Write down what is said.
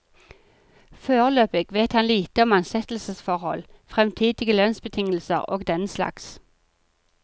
Foreløpig vet han lite om ansettelsesforhold, fremtidige lønnsbetingelser og denslags.